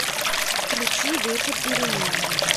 включи ветер перемен